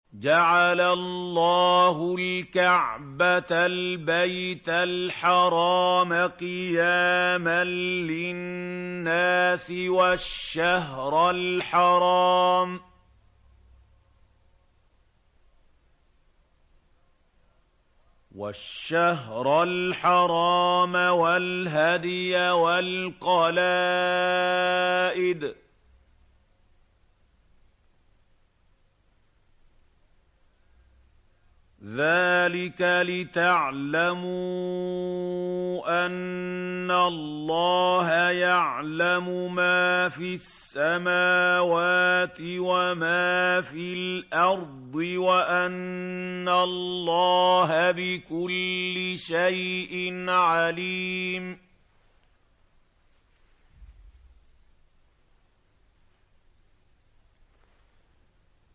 ۞ جَعَلَ اللَّهُ الْكَعْبَةَ الْبَيْتَ الْحَرَامَ قِيَامًا لِّلنَّاسِ وَالشَّهْرَ الْحَرَامَ وَالْهَدْيَ وَالْقَلَائِدَ ۚ ذَٰلِكَ لِتَعْلَمُوا أَنَّ اللَّهَ يَعْلَمُ مَا فِي السَّمَاوَاتِ وَمَا فِي الْأَرْضِ وَأَنَّ اللَّهَ بِكُلِّ شَيْءٍ عَلِيمٌ